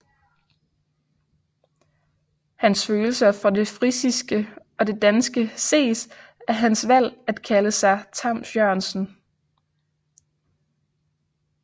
Hans følelser for det frisiske og det danske ses af hans valg at kalde sig Tams Jørgensen